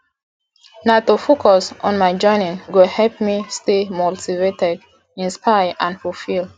na to focus on my journey go help me stay motivated inspired and fulfilled